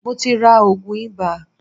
Mo ti ra òògùn ibà.